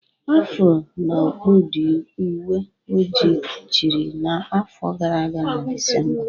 Afro na okpu ndị uwe ojii chịrị n'afọ gara aga na Disemba